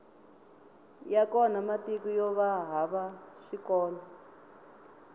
ya kona matiko yova hava swikolo